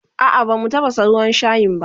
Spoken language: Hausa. A'a bamu tafasa ruwan shayin a